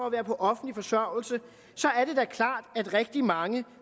at være på offentlig forsørgelse så er det da klart at rigtig mange